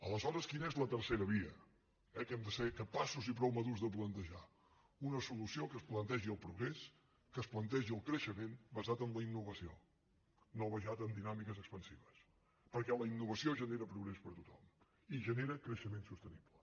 aleshores quina és la tercera via eh que hem de ser capaços i prou madurs de plantejar una solució que es plantegi el progrés que es plantegi el creixement basat en la innovació no basat en dinàmiques expansives perquè la innovació genera progrés per a tothom i genera creixement sostenible